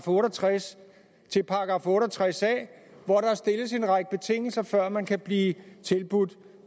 otte og tres til otte og tres a hvor der stilles en række betingelser før man kan blive tilbudt